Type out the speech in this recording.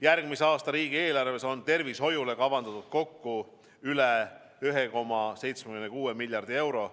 Järgmise aasta riigieelarves on tervishoiule kavandatud kokku üle 1,76 miljardi euro.